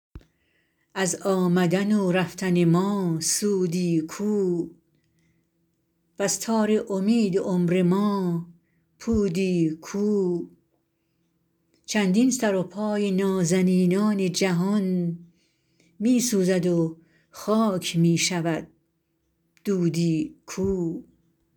از آمدن و رفتن ما سودی کو وز تار امید عمر ما پودی کو چندین سر و پای نازنینان جهان می سوزد و خاک می شود دودی کو